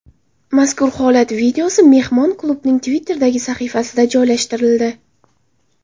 Mazkur holat videosi mehmon klubning Twitter’dagi sahifasida joylashtirildi .